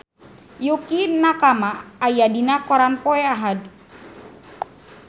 Yukie Nakama aya dina koran poe Ahad